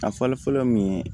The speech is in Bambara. A fɔlɔ fɔlɔ min ye